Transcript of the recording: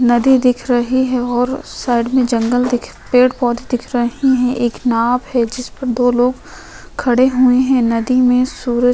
नदी दिख रही है और साइड में जंगल दिख पेड़ पौधे दिख रहे हैं। एक नाव है जिस पर दो लोग खड़े हुए हैं। नदी में सूरज --